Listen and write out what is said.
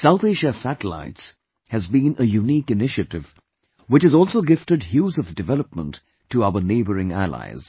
South Asia Satellites has been a unique initiative, which has also gifted hues of development to our neighbouring Allies